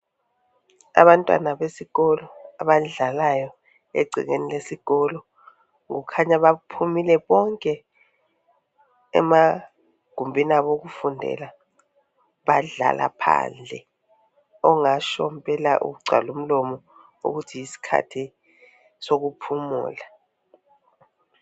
Abantwana besikolo abadlayo egcekeni lesikolo kukhanya baphumile bonke emagumbini abo okufundela, bayadlala phandle ongatsho mpela kugcwale umlomo ukuthi yisikhathi sokuphumula.